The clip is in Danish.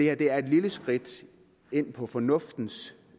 er et lille skridt ind på fornuftens